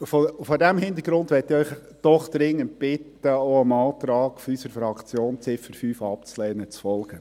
Vor diesem Hintergrund möchte ich Sie doch dringend bitten, dem Antrag unserer Fraktion, Ziffer 5 abzulehnen, zu folgen.